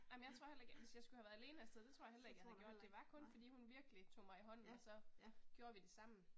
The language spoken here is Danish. Jamen jeg tror heller ikke, hvis jeg skulle have været alene afsted det tror jeg heller ikke jeg havde gjort, det var kun fordi hun virkelig tog mig i hånden og så gjorde vi det sammen